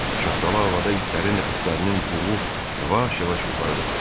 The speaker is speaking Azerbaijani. Şaxtalı havada itlərin nəfəslərinin buğu yavaş-yavaş yuxarı qalxırdı.